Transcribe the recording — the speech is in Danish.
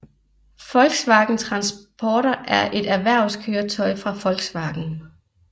Volkswagen Transporter er et erhvervskøretøj fra Volkswagen